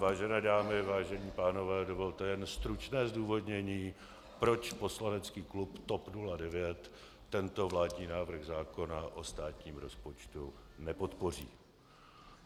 Vážené dámy, vážení pánové, dovolte jen stručné zdůvodnění, proč poslanecký klub TOP 09 tento vládní návrh zákona o státním rozpočtu nepodpoří.